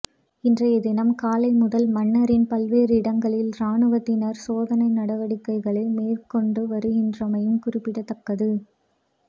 இன்றைய தினம் காலை முதல் மன்னாரின் பல்வேறு இடங்களில் இராணுவத்தினர் சோதனை நடவடிக்கைகளை மேற்கொண்டு வருகின்றமையும் குறிப்பிடத்தக்கது